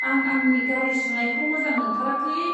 आं आंनि गारि सुनायखौ मोजां मोनथाराखै।